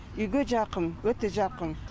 үйге жақын өте жақын